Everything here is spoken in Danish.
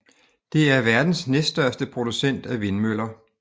Det er verdens næststørste producent af vindmøller